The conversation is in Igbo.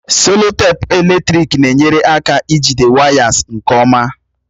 Seloteepu eletrik na-enyere aka ijide wires nke ọma.